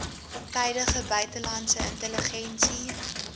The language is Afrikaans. tydige buitelandse intelligensie